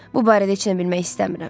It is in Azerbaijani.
Bu barədə heç nə bilmək istəmirəm.